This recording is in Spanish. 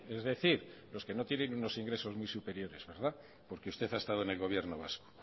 es decir los que no tienen unos ingresos muy superiores porque usted ha estado en el gobierno vasco